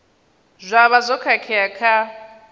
zwa vha zwo khakhea kha